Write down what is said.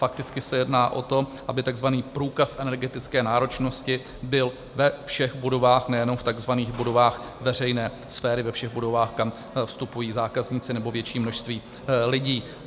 Fakticky se jedná o to, aby tzv. průkaz energetické náročnosti byl ve všech budovách, nejenom v tzv. budovách veřejné sféry, ve všech budovách, kam vstupují zákazníci nebo větší množství lidí.